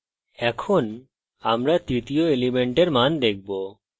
এখন আমরা তৃতীয় element মান দেখব